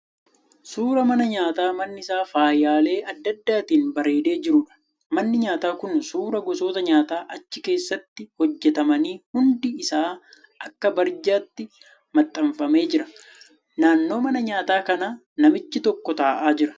Suuraa mana nyaataa manni isaa faayyaalee adda addaatiin bareedee jiruudha. Manni nyaataa kun suuraa gosoota nyaataa achi keessatti hojjetamanii hundi isaa akka barjaatti maxxanfamee jira. Naannoo mana nyaataa kana namichi tokko ta'aa jira.